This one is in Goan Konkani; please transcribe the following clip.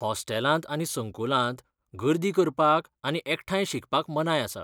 हॉस्टेलांत आनी संकुलांत गर्दी करपाक आनी एकठांय शिकपाक मनाय आसा.